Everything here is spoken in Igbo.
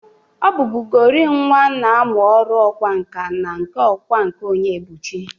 Ọ bụbụgori nwa na amụ ọrụ ọkwa nka na nke ọkwa nka Onyebụchi.